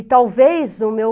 E talvez o meu...